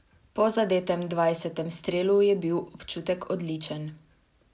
Po zadetem dvajsetem strelu je bil občutek odličen.